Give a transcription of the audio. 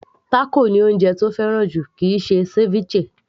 Tákò ni oúnjẹ tó fẹ́ràn jù kìí ṣe ceviche